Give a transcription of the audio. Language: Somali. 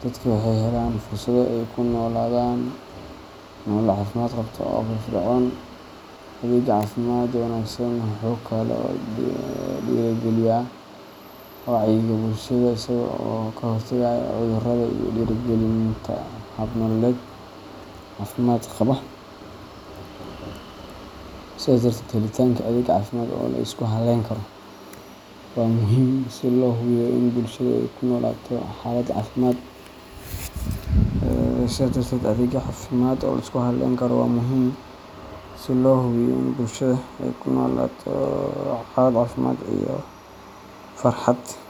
dadka waxay helaan fursado ay ku noolaadaan nolol caafimaad qabta oo firfircoon. Adeegga caafimaadka wanaagsan wuxuu kaloo dhiirrigeliyaa wacyiga bulshada, isaga oo ka hortagaya cudurrada iyo dhiirrigelinta hab nololeed caafimaad qaba. Sidaas darteed, helitaanka adeeg caafimaad oo la isku halleyn karo waa muhiim si loo hubiyo in bulshada ay ku noolaato xaalad caafimaad iyo farxad.